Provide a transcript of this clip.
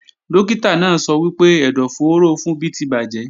Dókítà náà sọ wípé ẹ̀dọ̀fóró Funbí ti bàjẹ́